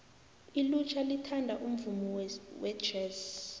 ilutjha lithanda umvumo wejesi